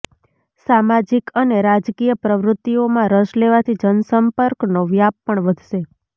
સામાજિક અને રાજકીય પ્રવૃત્તિઓમાં રસ લેવાથી જનસંપર્કનો વ્યાપ પણ વધશે